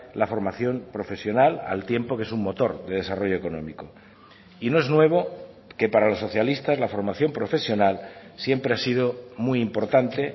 la formación profesional al tiempo que es un motor de desarrollo económico y no es nuevo que para los socialistas la formación profesional siempre ha sido muy importante